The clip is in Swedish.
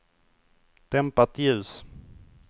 dämpat ljus